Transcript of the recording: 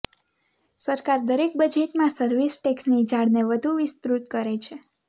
સરકાર દરેક બજેટમાં સર્વિસ ટેક્સની જાળને વધુ વિસ્ત્ાૃત કરે છે